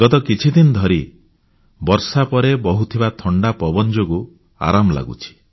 ଗତି କିଛି ଦିନ ଧରି ବର୍ଷା ପରେ ବହୁଥିବା ଥଣ୍ଡା ପବନ ଯୋଗୁ ଆରାମ ଲାଗୁଛି